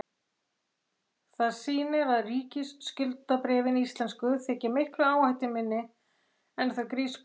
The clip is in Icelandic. Það sýnir að ríkisskuldabréfin íslensku þykja miklu áhættuminni en þau grísku.